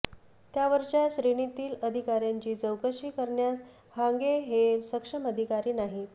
त्यावरच्या श्रेणीतील अधिकार्यांची चौकशी करण्यास हांगे हे सक्षम अधिकारी नाहीत